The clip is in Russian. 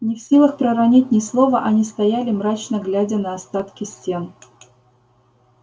не в силах проронить ни слова они стояли мрачно глядя на остатки стен